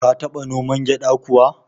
Ka taba noman gyada kuwa?